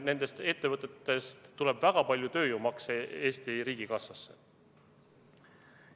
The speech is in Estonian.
Nendest ettevõtetest tuleb väga palju tööjõumakse Eesti riigikassasse.